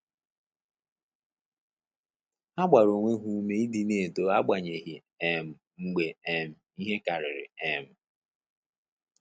Ha gbara onwe ha ume ịdị na-eto agbanyeghi um mgbe um ihe karịrị um